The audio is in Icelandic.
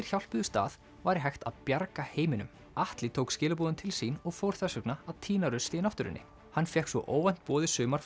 hjálpuðust að væri hægt að bjarga heiminum Atli tók skilaboðin til sín og fór þess vegna að tína rusl í náttúrunni hann fékk svo óvænt boð í sumar